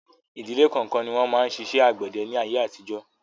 Ìdíle kọ̀ọ̀kan ni wọn máa ń ṣiṣẹ́ àgbẹ̀dẹ ni ayé àtijọ́